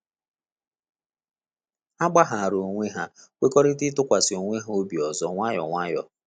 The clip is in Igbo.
Ha gbaghara onwe ha kwekọrịta ịtụkwasị onwe ha obi ọzọ nwayọ nwayọ